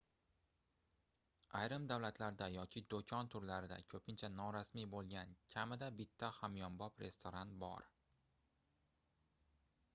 ayrim davlatlarda yoki doʻkon turlarida koʻpincha norasmiy boʻlgan kamida bitta hamyonbop restoran bor